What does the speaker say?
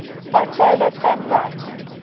bitola thumb right